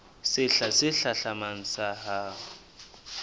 sehla se hlahlamang sa ho